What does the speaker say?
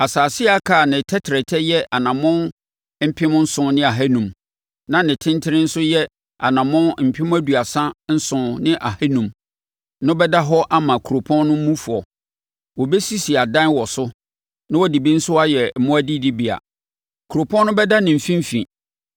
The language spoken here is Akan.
“Asase a aka a ne tɛtrɛtɛ yɛ anammɔn mpem nson ne ahanum (7,500) na ne tentene nso yɛ anammɔn mpem aduasa nson ne ahanum (37,500) no bɛda hɔ ama kuropɔn no mufoɔ. Wɔbɛsisi adan wɔ so na wɔde bi nso ayɛ mmoa adidibea. Kuropɔn no bɛda ne mfimfini